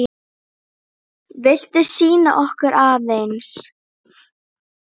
Viltu sýna okkur aðeins?